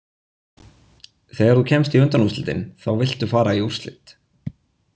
Þegar þú kemst í undanúrslitin þá viltu fara í úrslit.